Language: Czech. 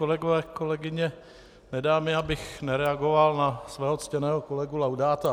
Kolegové, kolegyně, nedá mi, abych nereagoval na svého ctěného kolegu Laudáta.